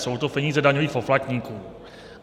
Jsou to peníze daňových poplatníků.